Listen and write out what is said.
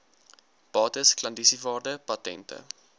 bates klandisiewaarde patente